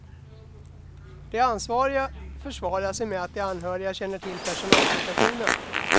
De ansvariga försvarar sig med att de anhöriga känner till personalsituationen.